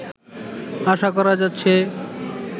আশা করা যাচ্ছে